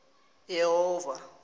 yehova